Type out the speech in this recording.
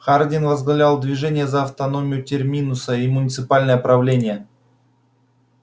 хардин возглавлял движение за автономию терминуса и муниципальное правление